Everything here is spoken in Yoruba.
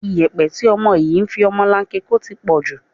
Ìyẹ̀pẹ̀ tí ọmọ yìí fi ọmọlanke ń kó ti pọ̀ jù